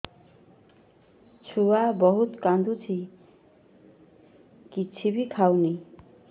ଛୁଆ ବହୁତ୍ କାନ୍ଦୁଚି କିଛିବି ଖାଉନି